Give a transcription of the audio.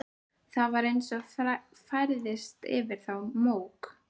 Það var eins og færðist yfir þá mók.